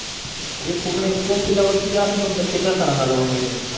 हे पूर्ण एक्सप्लेन केल्यावरती असं म्हणतात कि त्या सरांना जाऊन भेट